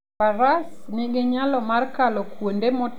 Faras nigi nyalo mar kalo kuonde motimo lwendni e thim.